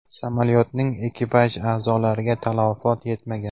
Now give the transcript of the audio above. Samolyotning ekipaj a’zolariga talafot yetmagan.